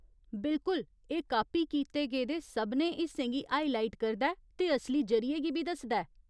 बिल्कुल, एह् कापी कीते गेदे सभनें हिस्सें गी हाइलाइट करदा ऐ ते असली जरि'ये गी बी दसदा ऐ।